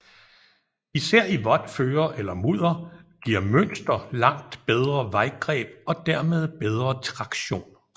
Især i vådt føre eller mudder giver mønster langt bedre vejgreb og dermed bedre traktion